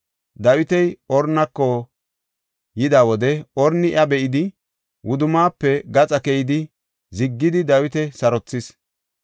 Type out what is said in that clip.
Dawiti Ornako yida wode Orni iya be7idi, wudummaafe gaxa keyidi ziggidi sarothis.